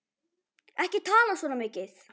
Ekki tala svona mikið!